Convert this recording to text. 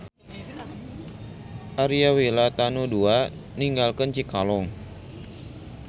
Aria Wira Tanu II ninggalkeun Cikalong.